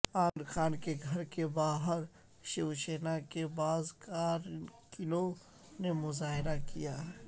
عامر خان کے گھر باہر شیو سینا کے بعض کارکنوں نے مظاہرہ کیا ہے